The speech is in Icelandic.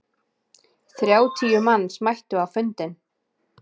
Þrjátíu manns mættu á fundinn.